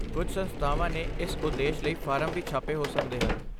ਕੁਝ ਸੰਸਥਾਵਾਂ ਨੇ ਇਸ ਉਦੇਸ਼ ਲਈ ਫਾਰਮ ਵੀ ਛਾਪੇ ਹੋ ਸਕਦੇ ਹਨ।